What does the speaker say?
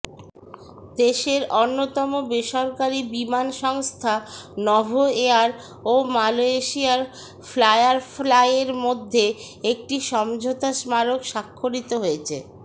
দেশের অন্যতম বেসরকারি বিমান সংস্থা নভোএয়ার ও মালয়েশিয়ার ফায়ারফ্লাইয়ের মধ্যে একটি সমঝোতা স্মারক স্বাক্ষরিত হয়েছে